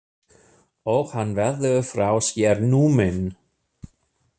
Og hann verður frá sér numinn.